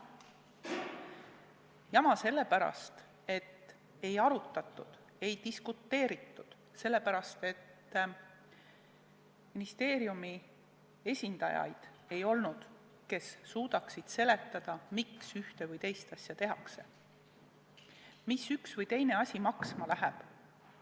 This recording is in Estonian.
Jama sellepärast, et ei arutatud, ei diskuteeritud, sellepärast, et polnud ministeeriumi esindajaid, kes oleks suutnud seletada, miks ühte või teist asja tehakse, mis üks või teine asi maksma läheb.